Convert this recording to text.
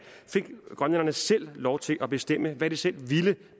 grønlænderne selv lov til at bestemme hvad de selv ville